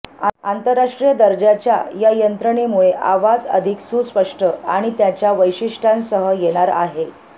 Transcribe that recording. आंतरराष्ट्रीय दर्जाच्या या यंत्रणेमुळे आवाज अधिक सुस्पष्ट आणि त्याच्या वैशिष्ट्यांसह येणार आहे